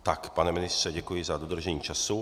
Tak, pane ministře, děkuji za dodržení času.